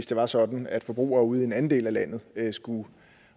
det var sådan at forbrugere ude i en anden del af landet skulle